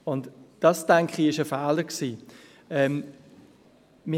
Und dies, denke ich, war ein Fehler.